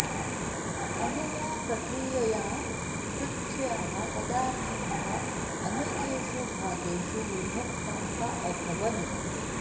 अनया प्रक्रियया पृथ्व्याः पदार्थाः अनेकेषु भागेषु विभक्ताः अभवन्